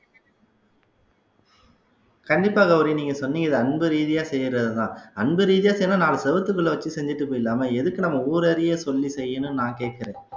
கண்டிப்பாக கௌரி நீங்க சொன்னீங்க இது அன்பு ரீதியா செய்யறதுதான் அன்பு ரீதியா செய்யணும்ன்னா நாலு சுவத்துக்குள்ள வச்சு செஞ்சுட்டு போயிடலாமா எதுக்கு நம்ம ஊரறிய சொல்லி செய்யணும்ன்னு நான் கேட்கறேன்